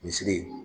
Misiri